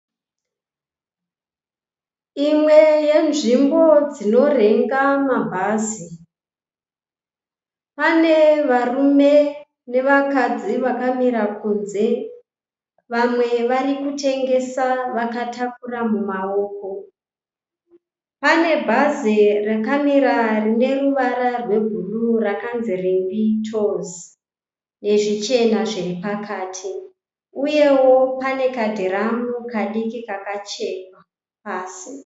Imwe yenzvimbo dzinorenga mabhazi. Pane varume nevakadzi vakamira kunze. Vamwe vari kutengesa vakatakura mumawoko. Pane bhazi rakamira rine ruvara rwebhuruu rakanzi Rimbi Tours nezvichena zviri pakati uyewo pane kadhiramu kadiki kakachekwa pasi.